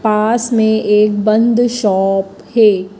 पास में एक बंद शॉप है।